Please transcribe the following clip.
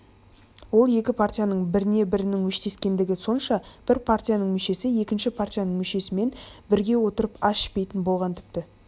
ол екі партияның біріне-бірінің өштескендігі сонша бір партияның мүшесі екінші партияның мүшесімен бірге отырып ас ішпейтін болған тіпті